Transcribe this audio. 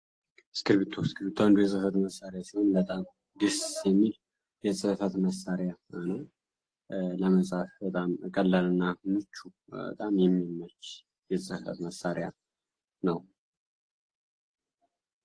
እስክርቢቶ እስክርቢቶ አንዱ ደስ የሚል የፅህፈት መሳሪያ ነው። ለመፃፍ ቀላል እና ምቹ በጣም የሚመች የፅህፈት መሳሪያ ነው።